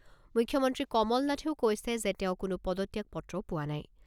মুখ্যমন্ত্ৰী কমলনাথেও কৈছে যে তেওঁ কোনো পদত্যাগ পত্ৰ পোৱা নাই।